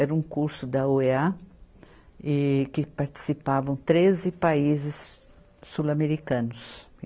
Era um curso da oea, e que participavam treze países sul-americanos.